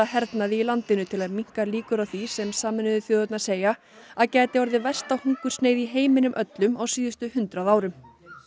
hernaði í landinu til að minnka líkur á því sem Sameinuðu þjóðirnar segja að gæti orðið versta hungursneyð í heiminum öllum á síðustu hundrað árum